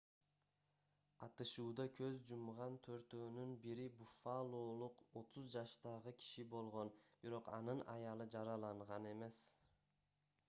атышууда көз жумган төртөөнүн бири буффалолук 30 жаштагы киши болгон бирок анын аялы жараланган эмес